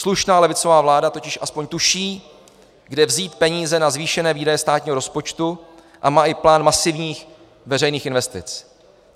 Slušná levicová vláda totiž aspoň tuší, kde vzít peníze na zvýšené výdaje státního rozpočtu, a má i plán masivních veřejných investic.